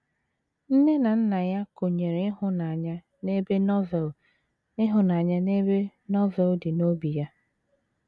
Nne na nna ya kụnyere ịhụnanya n’ebe Novel ịhụnanya n’ebe Novel dị n’obi ya.